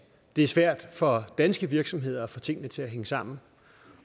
er svært for danske virksomheder at få tingene til at hænge sammen